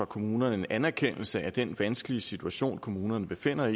kommunerne en anerkendelse af den vanskelige situation kommunerne befinder